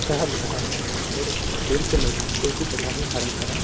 और खेल के मैदान को उसी तरह हमे हरा-भरा --